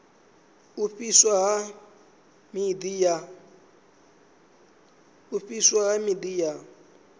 u fhiswa ha miḓi ya